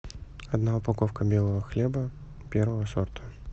одна упаковка белого хлеба первого сорта